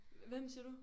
Hvem siger du?